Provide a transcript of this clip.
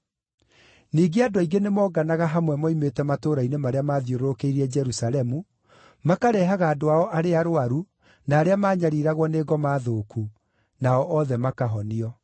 Ningĩ andũ aingĩ nĩmonganaga hamwe moimĩte matũũra-inĩ marĩa maathiũrũrũkĩirie Jerusalemu, makareehaga andũ ao arĩa arũaru, na arĩa maanyariiragwo nĩ ngoma thũku, nao othe makahonio.